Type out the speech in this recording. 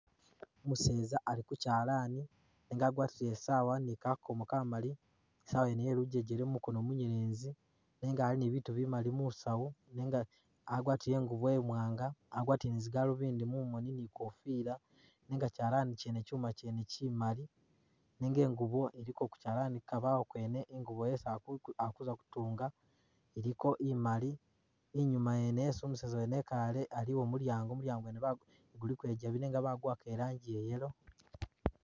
Umuseeza ali ku kyalaani nenga agwatile i'sawa ni kakomo kamali, i'sawa yene ye lujejele ku mukono munyelezi, nenga ali ni bibitu bimali mu saawu nenga agwatile ingubo imwaanga, agwatile ni zi galubindi mumoni ni i'kofila nenga kyalaani kyene kyuma kyene kimali nenga ingubo ili ku kyalaani ku kabawo kwene ingubo yesi ali ku ali kuza kutunga, iliko imali. Inyuuma yene yesi umuseza ekaale aliyo mudyaango, mudyaango bagu guliko ikyabi nenga baguwaka i'rangi ya yellow.